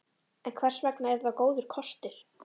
En hvers vegna er þetta góður kostur?